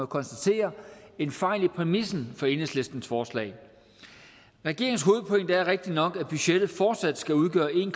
konstatere en fejl i præmissen for enhedslistens forslag regeringens hovedpointe er rigtigt nok at budgettet fortsat skal udgøre en